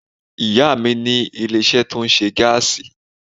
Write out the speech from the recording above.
Ìyá à mi ní ilé isé tó ńṣe gáàsì